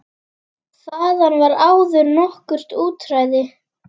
Þaðan var áður nokkurt útræði.